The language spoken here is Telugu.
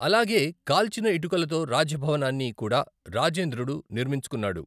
అలాగే కాల్చిన ఇటుకలతో రాజభవనాన్ని కూడా రాజేంద్రుడు నిర్మించుకున్నాడు.